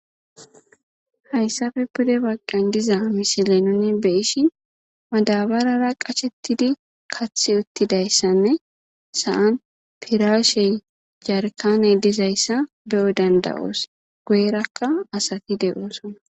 Hayssafe pude baggan diza mishile nuni be7ishin madabarara qasheththidi kaththi uththidayssanne sa7an piraashey jarkkaaney dizayssa be7o dandda7oos; goyerakka asathi de7oosona.